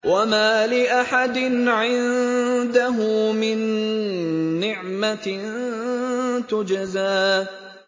وَمَا لِأَحَدٍ عِندَهُ مِن نِّعْمَةٍ تُجْزَىٰ